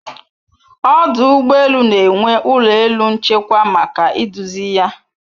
Ọdụ ụgbọ elu na-enwe ụlọ elu nchekwa maka iduzi ya